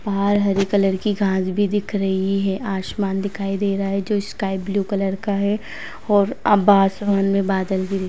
बाहर हरे कलर की घास भी दिख रही हैं। आसमान दिखाई दे रहा हैं जो स्काई ब्लू कलर का हैं और अब आसमान में बादल भी --